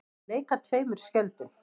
Að leika tveimur skjöldum